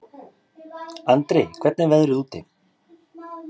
Andri, hvernig er veðrið úti?